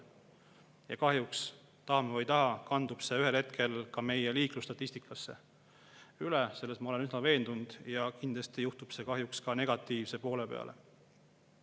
Ja kahjuks, tahame või ei taha, kandub see ühel hetkel liiklusstatistikasse üle – selles ma olen üsna veendunud – ja kindlasti kahjuks negatiivse poole peale.